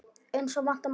Eins og vænta mátti.